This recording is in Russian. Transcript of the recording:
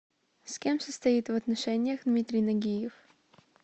с кем состоит в отношениях дмитрий нагиев